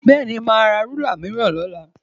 Bẹ́ẹ̀ni, màá ra rúlà mìíràn ní ọ̀la